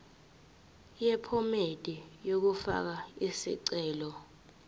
yephomedi yokufaka isicelo